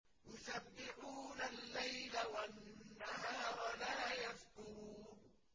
يُسَبِّحُونَ اللَّيْلَ وَالنَّهَارَ لَا يَفْتُرُونَ